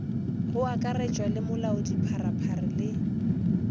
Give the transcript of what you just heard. go akaretšwa le molaodipharephare le